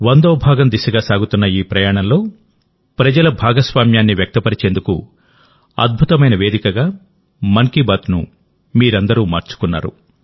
వందో భాగం దిశగా సాగుతున్న ఈ ప్రయాణంలో ప్రజల భాగస్వామ్యాన్ని వ్యక్తపరిచేందుకు అద్భుతమైన వేదికగామన్ కీ బాత్నుమీరందరూమార్చుకున్నారు